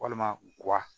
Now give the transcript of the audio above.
Walima guwa